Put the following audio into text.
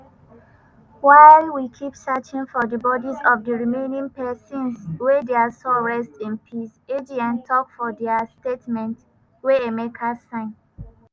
while we keep searching for di bodis of di remaining pesins may dia soul rest in peace" agn tok for dia statement wey emeka sign.